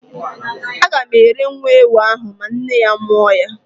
A gam ere nwa ewu ahụ ma nne ya mụọ ya